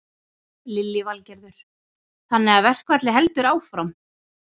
Lillý Valgerður: Þannig að verkfallið heldur áfram?